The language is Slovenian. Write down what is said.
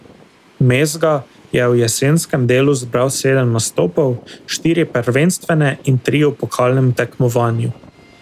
Mezga je v jesenskem delu zbral sedem nastopov, štiri prvenstvene in tri v pokalnem tekmovanju.